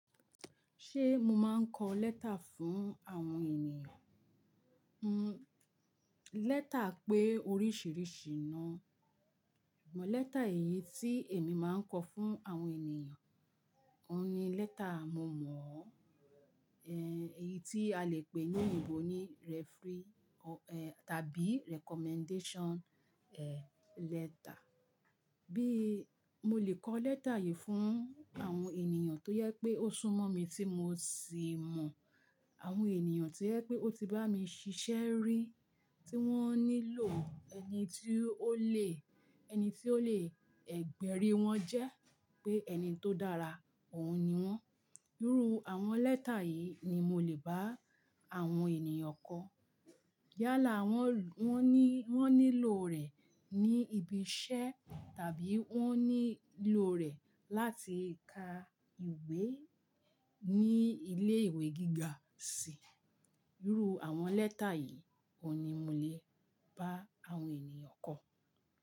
Ṣé mo máa ń kọ lẹ́tà fún àwọn ènìyàn hmm? Lẹ́tà pé oríṣìíríṣìí náà, ṣùgbọ́n lẹ́tà èyí tí èmi máa ń kọ fún àwọn ènìyàn, òun ni lẹ́tà momọ̀ọ ọ, èyí tí a lè pè ní òyìnbó ní referee tàbí recommendation letter. Bí mo lè kọ lẹ́tà yìí fún àwọn ènìyàn tó yẹ pé ó sún mọ́ mi tí mo sì mọ̀, àwọn ènìyàn to jẹ pé ó ti bá mi ṣiṣẹ́ rí, tí wọ́n nílò ẹni tí ó le, ẹni tí ó lè ẹ gbẹ́ rí wọn jẹ́ pé ẹni tó dára, òun ni wọ́n. Irú àwọn lẹ́tà yìí ni mo lè bá àwọn ènìyàn kọ. Yálà wọ́n, wọ́n ní, wọ́n nílò rẹ̀ ní ibi iṣẹ́ tàbí wọ́n nílò rẹ̀ láti ka ìwé ní ilé ìwé gíga sì í. Irú àwọn lẹ́tà yìí òun ni mo lè bá àwọn ènìyàn kọ.